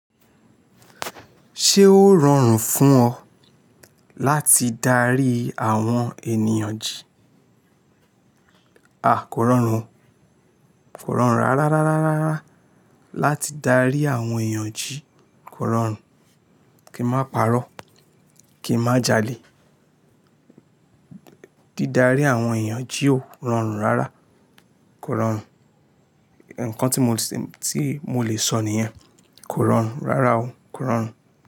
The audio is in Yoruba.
Ṣé ó rọrùn fún ọ láti darí àwọn ènìyàn jí? A, kò rọrùn o. Kò rọrùn rárá, rárá, rárá láti darí àwọn ènìyàn jí. Kò rọrùn. Kin máa pàrọ́, kè má jalè. Dí darí àwọn ènìyàn jí ó rọrùn rárá. Kò rọrùn. Ǹkan tí mo lè, tí mo lè sọ nìyẹn. Kò rọrùn rárá o. Kò rọrùn.